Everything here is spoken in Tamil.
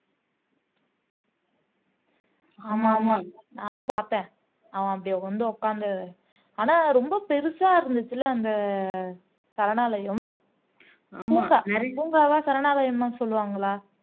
ஆமா ஆமா நானும் பாத்தேன் அவன் அப்டி வந்து உக்காந்து ஆனா ரொம்ப பெருசா இருந்துச்சுல்ல அந்த சரணாலயம் பூங்காவா சரணாலயம்தான் சொல்லுவாங்களா